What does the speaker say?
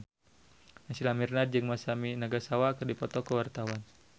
Naysila Mirdad jeung Masami Nagasawa keur dipoto ku wartawan